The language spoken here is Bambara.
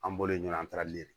An bɔlen ɲɔn taali de